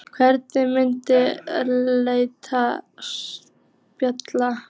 Hvernig myndi lesandinn spila?